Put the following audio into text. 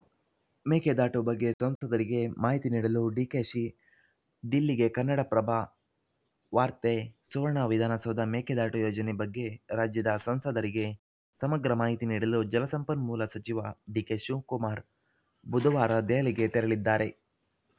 ಮೇಕೆದಾಟು ಬಗ್ಗೆ ಸಂಸದರಿಗೆ ಮಾಹಿತಿ ನೀಡಲು ಡಿಕೆಶಿ ದಿಲ್ಲಿಗೆ ಕನ್ನಡಪ್ರಭ ವಾರ್ತೆ ಸುವರ್ಣ ವಿಧಾನಸೌಧ ಮೇಕೆದಾಟು ಯೋಜನೆ ಬಗ್ಗೆ ರಾಜ್ಯದ ಸಂಸದರಿಗೆ ಸಮಗ್ರ ಮಾಹಿತಿ ನೀಡಲು ಜಲಸಂಪನ್ಮೂಲ ಸಚಿವ ಡಿಕೆ ಶಿವ್ ಕುಮಾರ್ ಬುಧವಾರ ದೆಹಲಿಗೆ ತೆರಳಲಿದ್ದಾರೆ